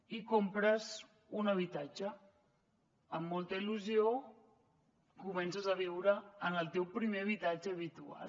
i compres un habitatge amb molta il·lusió comences a viure en el teu primer habitatge habitual